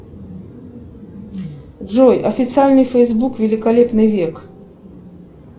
джой официальный фейсбук великолепный век